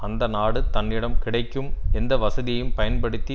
அந்த நாடு தன்னிடம் கிடைக்கும் எந்த வசதியையும் பயன்படுத்தி